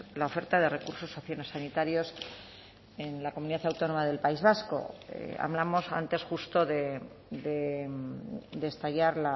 la oferta de recursos sociosanitarios en la comunidad autónoma del país vasco hablamos antes justo de estallar